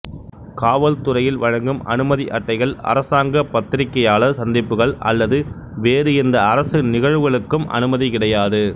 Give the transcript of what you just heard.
காவல் துறையில் வழங்கும் அனுமதி அட்டைகள் அரசாங்க பத்திரிகையாளர் சந்திப்புகள் அல்லது வேறு எந்த அரசு நிகழ்வுகளுக்கும் அனுமதி கிடையாது